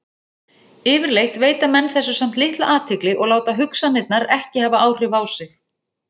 Yfirleitt veita menn þessu samt litla athygli og láta hugsanirnar ekki hafa áhrif á sig.